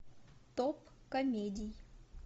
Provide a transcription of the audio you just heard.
топ комедий